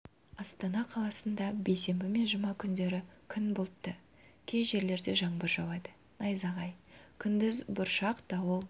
астана қаласында бейсенбі мен жұма күндері күн бұлтты кей жерлерде жаңбыр жауады найзағай күндіз бұршақ дауыл